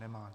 Nemá.